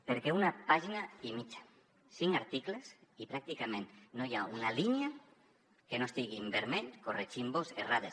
perquè una pàgina i mitja cinc articles i pràcticament no hi ha una línia que no estigui en vermell corregint vos errades